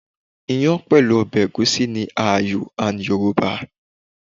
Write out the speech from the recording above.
Iyàn pẹ̀lú ọbẹ̀ Ẹ̀gúsí ni ààyò and Yorùbá.